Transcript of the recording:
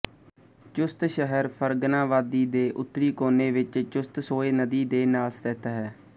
ਚੁਸਤ ਸ਼ਹਿਰ ਫ਼ਰਗਨਾ ਵਾਦੀ ਦੇ ਉੱਤਰੀ ਕੋਨੇ ਵਿੱਚ ਚੁਸਤਸੋਏ ਨਦੀ ਦੇ ਨਾਲ ਸਥਿਤ ਹੈ